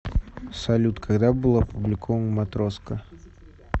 салют когда был опубликован матроска